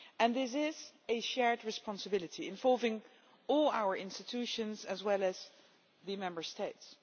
This is a shared responsibility involving all our institutions as well as the Member States.